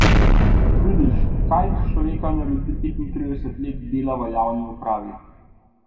Vidiš, kaj iz človeka naredi petintrideset let dela v javni upravi.